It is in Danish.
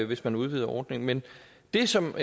hvis man udvider ordningen men det som